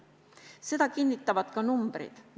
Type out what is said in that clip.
Seda kinnitavad ka numbrid.